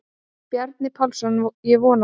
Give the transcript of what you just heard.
Bjarni Pálsson: Ég vona það.